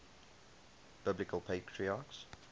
biblical patriarchs